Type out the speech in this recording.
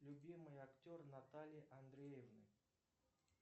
любимый актер натальи андреевны